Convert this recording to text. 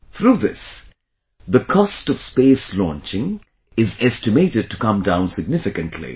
Through this, the cost of Space Launching is estimated to come down significantly